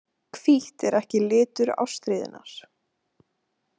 Hvítt er ekki litur ástríðunnar.